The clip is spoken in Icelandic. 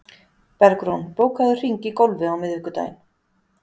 Bergrún, bókaðu hring í golf á miðvikudaginn.